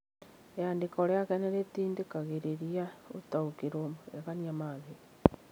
Rĩandĩko rĩake nĩ rĩtindĩkagĩrĩria gũtaũkĩrwo magegania ma thĩ.